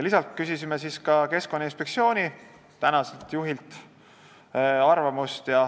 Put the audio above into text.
Küsisime arvamust ka Keskkonnainspektsiooni tänaselt juhilt.